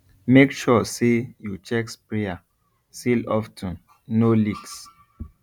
make sure say you check sprayer seal of ten no leaks